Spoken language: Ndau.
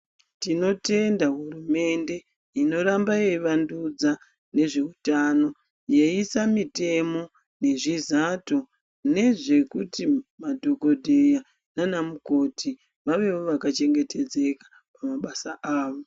Tinotenda hurumende inoramba yeyi vandudza nezveutano yeisa mitemo nezvizato nezve kuti madhokodheya nanamukoti vavewo vakachengetedzeka pamabasa avo.